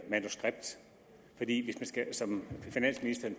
manuskript som finansministeren